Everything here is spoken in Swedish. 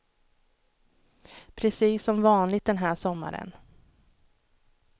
Precis som vanligt den här sommaren.